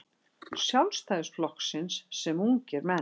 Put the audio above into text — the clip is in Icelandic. Sjálfstæðisflokksins sem ungir menn.